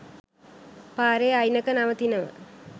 පාරෙ අයිනක නවතිනවා